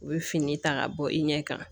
U bɛ fini ta ka bɔ i ɲɛ kan